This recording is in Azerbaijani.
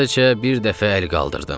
Sadəcə bir dəfə əl qaldırdım.